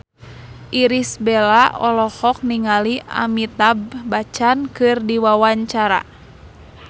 Irish Bella olohok ningali Amitabh Bachchan keur diwawancara